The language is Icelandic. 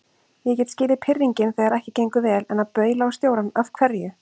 Ég get skilið pirringinn þegar ekki gengur vel, en að baula á stjórann. af hverju?